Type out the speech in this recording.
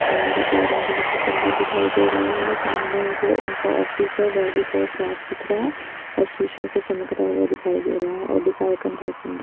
और गार्डन बहोत ही सुन्दर दिखाई दे रहा है सामने जो इनका ओफीस है वेह भी बोत साफ सुथरा है और सिसो से चमकता हुआ दिखाई दे रहा है और दिखाई कण बहोत सुन्दर--